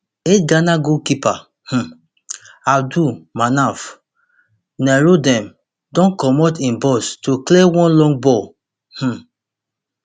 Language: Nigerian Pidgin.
eightghana goalkeeper um abdul manaf nurudeen don comot im box to clear one long ball um